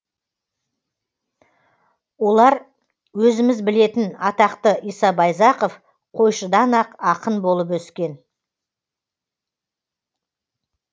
олар өзіміз білетін атақты иса байзақов қойшыдан ақ ақын болып өскен